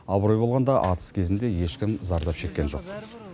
абырой болғанда атыс кезінде ешкім зардап шеккен жоқ